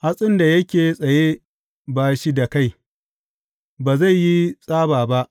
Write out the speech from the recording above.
Hatsin da yake tsaye ba shi da kai, ba zai yi tsaba ba.